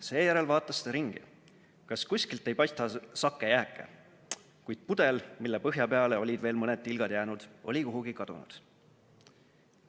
Seejärel vaatas ta ringi, kas kuskilt ei paista sake jääke, kuid pudel, mille põhja peale olid veel mõned tilgad jäänud, oli kuhugi kadunud.